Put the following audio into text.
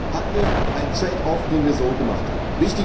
Das war ein Handel, ein trade off den wir so gemacht haben.